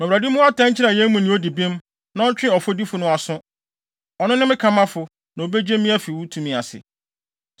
Ma Awurade mmu atɛn nkyerɛ yɛn mu nea odi bem, na ɔntwe ɔfɔdifo no aso. Ɔno ne me kamafo, na obegye me afi wo tumi ase.”